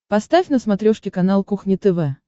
поставь на смотрешке канал кухня тв